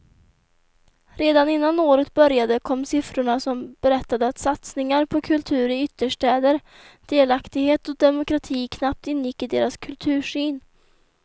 Redan innan året började kom siffrorna som berättade att satsningar på kultur i ytterstäder, delaktighet och demokrati knappt ingick i deras kultursyn.